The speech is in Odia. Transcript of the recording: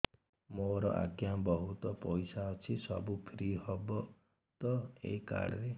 ମୋର ଆଜ୍ଞା ବହୁତ ପଇସା ଅଛି ସବୁ ଫ୍ରି ହବ ତ ଏ କାର୍ଡ ରେ